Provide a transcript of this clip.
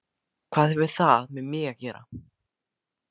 Hvað hefur það með mig að gera?